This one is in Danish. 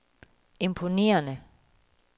imponerende